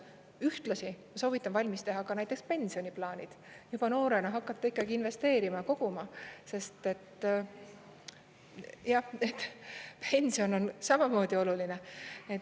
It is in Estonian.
Ühtlasi soovitan valmis teha ka näiteks pensioniplaanid, juba noorena hakata investeerima, koguma, sest pension on samamoodi oluline.